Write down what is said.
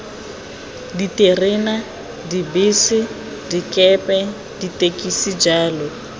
diterena dibese dikepe ditekisi jalo